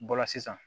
Bɔla sisan